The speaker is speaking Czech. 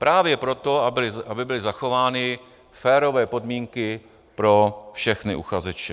Právě proto, aby byly zachovány férové podmínky pro všechny uchazeče.